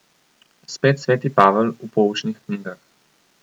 Spet sveti Pavel v Poučnih knjigah.